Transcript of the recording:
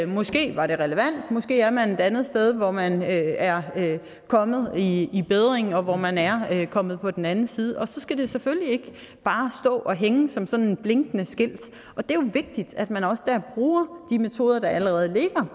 måske var det relevant måske er man et andet sted hvor man er kommet i i bedring og hvor man er kommet på den anden side og så skal det selvfølgelig ikke bare stå og hænge som sådan et blinkende skilt og det er jo vigtigt at man også der bruger de metoder der allerede ligger